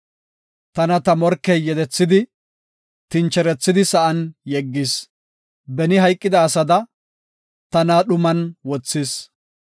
Tana ta morkey yedethidi, tincherethidi sa7an yeggis. Beni hayqida asada tana dhuman wothis.